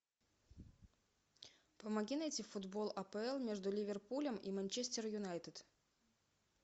помоги найти футбол апл между ливерпулем и манчестер юнайтед